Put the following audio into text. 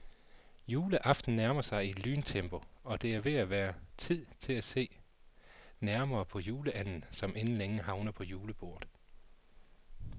Juleaften nærmer sig i lyntempo, og det er ved at være tid til at se nærmere på juleanden, som inden længe havner på julebordet.